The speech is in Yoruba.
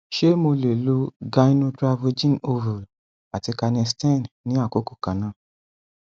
ṣé mo lè lo gynotravogen ovule àti canesten ní àkókò kan náà